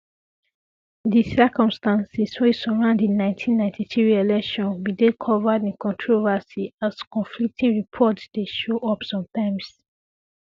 di circumstances wey surround di 1993 election bin dey covered in controversy as conflicting reports dey show up sometimes